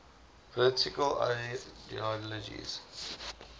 political ideologies